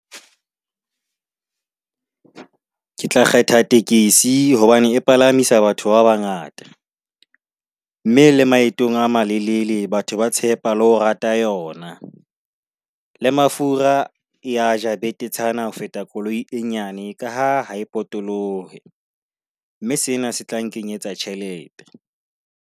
Ke tla kgetha tekesi hobane e palamisa batho ba bangata mme le maetong a malelele batho ba tshepa le ho rata yona le mafura e a ja betetshana ho feta koloi e nyane ka ha ha e potolohe, mme sena se tla nkenyetsa tjhelete.